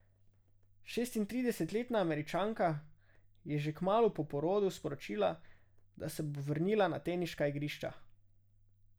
Šestintridesetletna Američanka je že kmalu po porodu sporočila, da se bo vrnila na teniška igrišča.